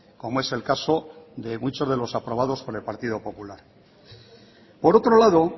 como es el caso de muchos de los aprobados por el partido popular por otro lado